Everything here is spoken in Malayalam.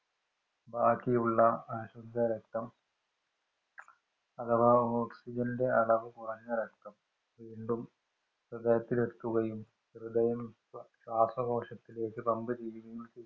ബാക്കിയുള്ള അശുദ്ധരക്തം അഥവാ ഓക്സിജന്‍റെ അളവ് കുറഞ്ഞ രക്തം വീണ്ടും ഹൃദയത്തിലെത്തുകയും, ഹൃദയം ശ്വാസകോശത്തിലേക്ക് പമ്പ്‌ ചെയ്യുകയും ചെയ്യും.